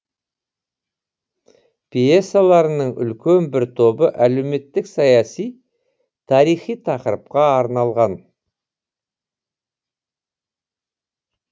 пьесаларының үлкен бір тобы әлеуметтік саяси тарихи тақырыпқа арналған